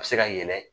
A bɛ se ka yɛlɛ